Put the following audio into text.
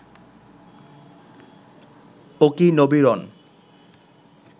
ওকি Nabiran